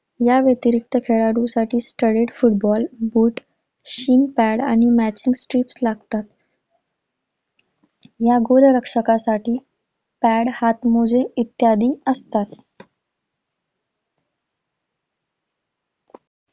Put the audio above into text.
याव्यतिरीक्त खेळाडूसाठी studded football, boot shin pad आणि matching sleeves लागतात. या गोलरक्षकासाठी pad हातमोजे इत्यादी असतात.